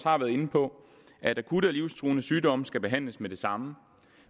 har været inde på at akutte og livstruende sygdomme skal behandles med det samme